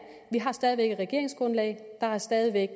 vi har stadig væk et regeringsgrundlag der er stadig væk